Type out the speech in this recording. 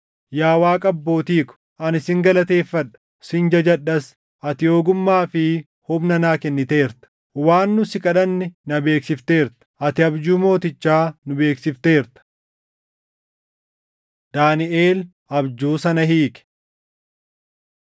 Yaa Waaqa abbootii ko, ani sin galateeffadha; sin jajadhas: Ati ogummaa fi humna naa kenniteerta; waan nu si kadhanne na beeksifteerta; ati abjuu mootichaa nu beeksifteerta.” Daaniʼel Abjuu sana Hiike